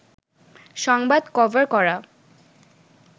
সংবাদ কভার করা